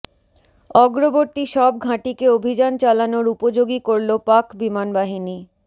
অগ্রবর্তী সব ঘাঁটিকে অভিযান চালানোর উপযোগী করল পাক বিমানবাহিনী